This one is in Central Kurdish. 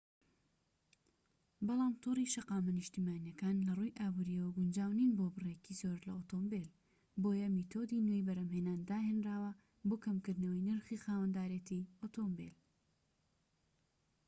بەڵام تۆڕی شەقامە نیشتیمانیەکان لەڕووی ئابوریەوە گونجاو نین بۆ بڕێکی زۆر لە ئۆتۆمبیل بۆیە میتۆدی نوێی بەرهەمهێنان داهێنراوە بۆ کەمکردنەوەی نرخی خاوەندارێتی ئۆتۆمبیل